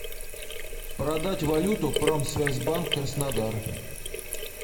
продать валюту промсвязьбанк краснодар